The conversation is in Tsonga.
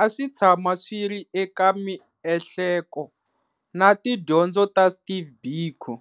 a swi tshama swi ri eka miehleko na tidyondzo ta Steve Biko.